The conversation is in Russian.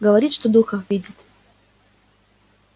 говорит что духов видит